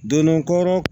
Don dɔ